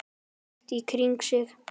Leit í kringum sig.